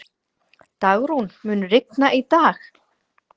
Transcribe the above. Dagrún, mun rigna í dag?